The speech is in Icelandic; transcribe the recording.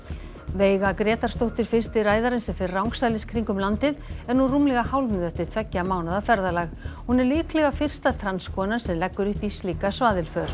veiga Grétarsdóttir fyrsti ræðarinn sem fer rangsælis kringum landið er nú rúmlega hálfnuð eftir tveggja mánaða ferðalag hún er líklega fyrsta transkonan sem leggur upp í slíka svaðilför